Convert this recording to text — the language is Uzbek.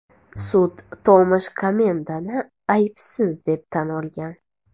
Sud Tomash Komendani aybsiz deb tan olgan.